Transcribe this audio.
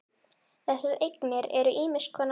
Þessar eignir eru ýmiss konar.